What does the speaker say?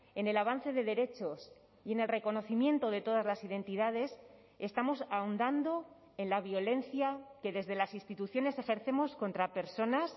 en el avance de derechos y en el reconocimiento de todas las identidades estamos ahondando en la violencia que desde las instituciones ejercemos contra personas